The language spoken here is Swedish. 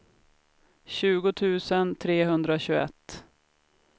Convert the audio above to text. tjugo tusen trehundratjugoett